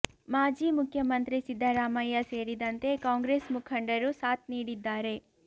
ಮಾಜಿ ಮುಖ್ಯ ಮಂತ್ರಿ ಸಿದ್ದರಾಮಯ್ಯ ಸೇರಿದಂತೆ ಕಾಂಗ್ರೆಸ್ ಮುಖಂಡರು ಸಾಥ್ ನೀಡಿದ್ದಾರೆ